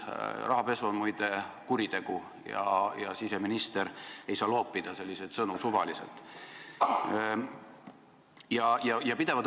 Rahapesu on muide kuritegu ja siseminister ei saa selliseid sõnu suvaliselt loopida.